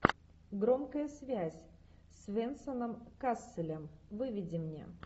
громкая связь с венсаном касселем выведи мне